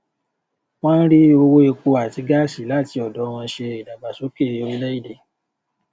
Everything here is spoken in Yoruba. wọn ń rí owó epo àti gáàsí láti ọdọ wọn ṣe ìdàgbàsókè orílẹèdè